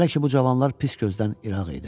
Hələ ki bu cavanlar pis gözdən ıraq idi.